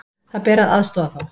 Það ber að aðstoða þá.